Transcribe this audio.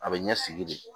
A bɛ ɲɛ sigi de